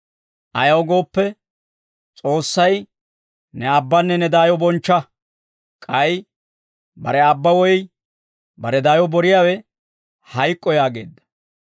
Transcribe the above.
Ayaw gooppe S'oossay, ‹Ne aabbanne ne daayo bonchcha› k'ay, Bare aabba woy bare daayo boriyaawe hayk'k'o yaageedda.